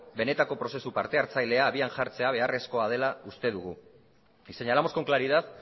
benetako prozesu parte hartzailea abian jartzea beharrezkoa dela uste dugu y señalamos con claridad